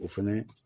O fɛnɛ